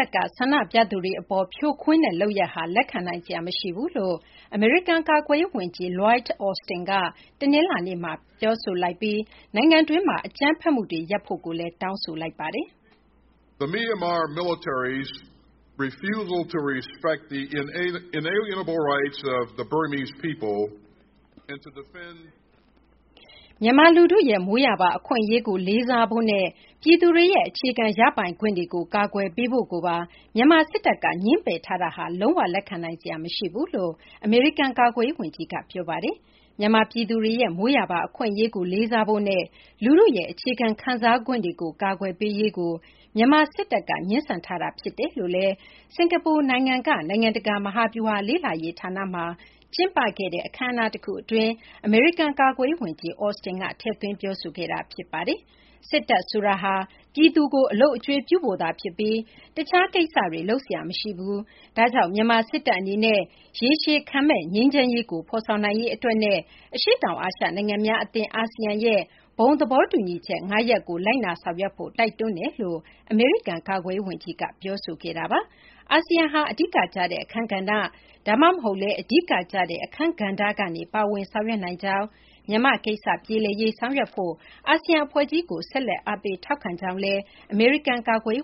န့်ကျင် ဆန္ဒပြသူတွေ အပေါ် စစ်တပ်က ဖြိုခွင်းတဲ့ လုပ်ရပ်ဟာ လက်ခံနိုင်စရာ မရှိဘူးလို့ အမေရိကန် ကာကွယ်ရေး ဝန်ကြီး Lloyd Austin က ပြောဆိုလိုက်ပြီး နိုင်ငံတွင်း အကြမ်းဖက်မှုတွေ ရပ်ဖို့လည်း တောင်းဆိုလိုက်ပါတယ်။ "မြန်မာ လူထုရဲ့ မွေးရာပါ အခွင့်အရေးကို လေးစားဖို့နဲ့ ပြည်သူတွေရဲ့ အခြေခံ ရပိုင်ခွင့်တွေကို ကာကွယ်ပေးဖို့ကိုပါ မြန်မာ စစ်တပ်က ငြင်းပယ်ထားတာဟာ လုံး၀ လက်ခံနိုင်စရာ မရှိဘူးလို့ အမေရိကန် ကာကွယ်ရေး ဝန်ကြီးက ပြောပါတယ်။ မြန်မာ ပြည်သူတွေရဲ့ မွေးရာပါ အခွင့်အရေးကို လေးစားဖို့နဲ့ လူထုရဲ့ အခြေခံ ခံစားခွင့်တွေကို ကာကွယ်ပေးရေးကို မြန်မာ စစ်တပ်က ငြင်းဆန်ထားတာ ဖြစ်တယ်လို့လည်း စကာၤပူနိုင်ငံက နိုင်ငံတကာ မဟာဗျုဟာလေ့လာရေးဌာနမှာ တနင်္လာနေ့ ကျင်းပခဲ့တဲ့ အခမ်းအနား တခု အတွင်း အမေရိကန် ကာကွယ်ရေး ဝန်ကြီး Austin က ထည့်သွင်း ပြောဆိုခဲ့တာ ဖြစ်ပါတယ်။ စစ်တပ် ဆိုတာဟာ ပြည်သူကို အလုပ်အကျွေးပြုဖို့သာ ဖြစ်ပြီး တခြား ကိစ္စတွေ လုပ်စရာ မရှိပါဘူး။ ဒါကြောင့် မြန်မာ စစ်တပ် အနေနဲ့ ရေရှည်ခံမယ့် ငြိမ်းချမ်းရေးကို ဖော်ဆောင်နိုင်ရေး အတွက်နဲ့ အရှေ့တောင် အာရှ နိုင်ငံများ အသင်း ASEAN ရဲ့ ဘုံ သဘောတူညီချက် ၅ ရပ်ကို လိုက်နာ ဆောင်ရွက်ဖို့ တိုက်တွန်းပါတယ်လို့ အမေရိကန် ကာကွယ်ရေး ဝန်ကြီးက ပြောဆိုခဲ့တာပါ။ ASEAN ဟ အဓိကကျတဲ့ အခန်းကဏ္ဍ ဒါမှမဟုတ်လည်း အဓိက ကျတဲ့ အခန်းကဏ္ဍကနေ ပါဝင် ဆောင်ရွက်နိုင်ကြောင်း၊ မြန်မာ့ ကိစ္စ ပြေလည်ရေး ဆောင်ရွက်ဖို့ အာဆီယံ အဖွဲ့ကြီးကို ဆက်လက် အားပေး ထောက်ခံကြောင်းလည်း အမေရိကန် ကာကွယ်